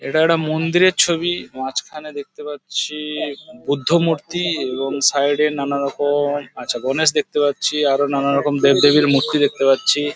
এটা একটা মন্দিরের ছবি মাঝখানে দেখতে পাচ্ছি-ই- বুদ্ধ মূর্তি এবং সাইড -এ নানা রকম আচ্ছা গণেশ দেখতে পাচ্ছি আরো নানা রকম দেব দেবীর মূর্তি দেখতে পাচ্ছি।